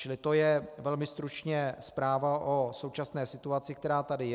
Čili to je velmi stručně zpráva o současné situaci, která tady je.